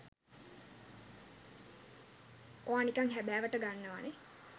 ඔයා නිකං හැබෑවට ගන්නවා නේ.